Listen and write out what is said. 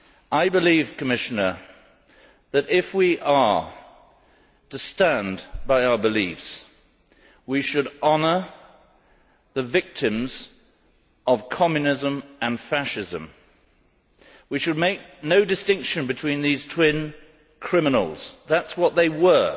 I believe, Commissioner, that if we are to stand by our beliefs we should honour the victims of Communism and Fascism. We should make no distinction between these twin criminals that is what they were.